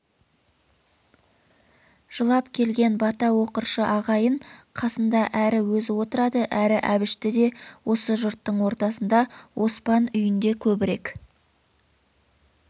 жылап келген бата оқыршы ағайын қасында әрі өзі отырады әрі әбішті де осы жұрттың ортасында оспан үйінде көбірек